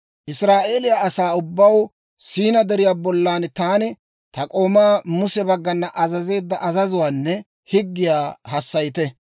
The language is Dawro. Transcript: «Israa'eeliyaa asaa ubbaw Siinaa Deriyaa bollan taani ta k'oomaa Muse baggana azazeedda azazuwaanne higgiyaa hassayite.